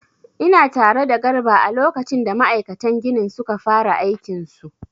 Ina tare da garba a lokacin da ma'aikatan ginin suka fara aikin su